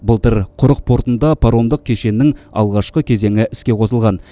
былтыр құрық портында паромдық кешеннің алғашқы кезеңі іске қосылған